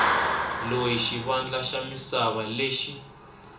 loyi xivandla xa misava lexi